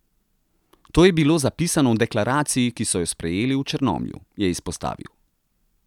To je bilo zapisano v deklaraciji, ki so jo sprejeli v Črnomlju, je izpostavil.